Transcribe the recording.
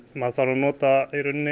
maður þarf að nota